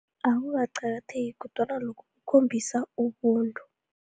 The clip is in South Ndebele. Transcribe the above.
Awukaqakatheki kodwana lokhu, kukhombisa ubuntu.